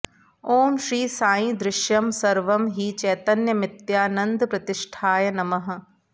ॐ श्री साई दृश्यं सर्वं हि चैतन्यमित्यानन्दप्रतिष्ठाय नमः